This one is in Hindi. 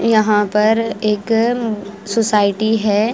यहां पर एक सोसायटी है।